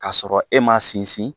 Ka sɔrɔ e ma sinsin